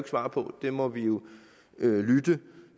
svare på der må vi jo lytte